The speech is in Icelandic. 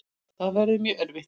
Það verður mjög erfitt.